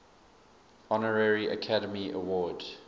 honorary academy award